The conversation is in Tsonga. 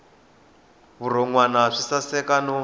vurhon wana swi saseka no